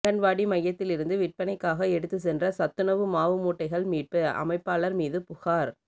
அங்கன்வாடி மையத்தில் இருந்து விற்பனைக்காக எடுத்து சென்ற சத்துணவு மாவு மூட்டைகள் மீட்பு அமைப்பாளர் மீது புகார்